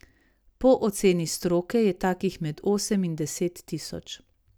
Po oceni stroke je takih med osem in deset tisoč.